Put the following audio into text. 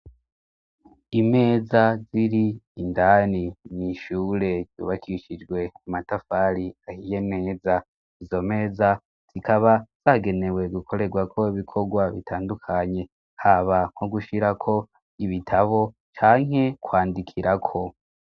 Imeza ziri indani mw'ishure yubakishijwe amatafari ahiye neza, izo meza zikaba zagenewe gukorerwa ko ibikorwa bitandukanye haba nko gushirako ibitabo canke kwandikirako.